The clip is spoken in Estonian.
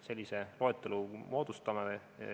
Sellise loetelu me teeme.